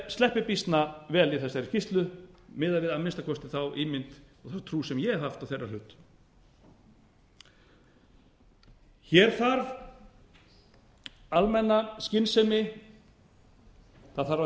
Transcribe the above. sleppi býsna vel í þessari skýrslu miðað við að minnsta kosti þá ímynd og trú sem ég hef haft á þeirra hlut hér þarf almenna skynsemi það þarf að